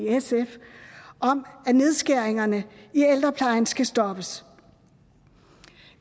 at nedskæringerne i ældreplejen skal stoppes